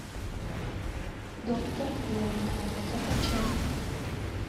доктор блейк закачай